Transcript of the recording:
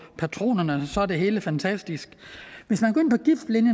patronerne så er det hele fantastisk hvis